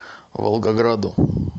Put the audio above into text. волгограду